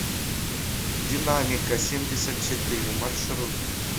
динамика семьдесят четыре маршрут